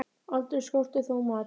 Aldrei skorti þó mat.